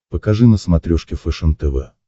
покажи на смотрешке фэшен тв